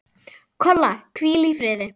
Kolla, hvíl í friði.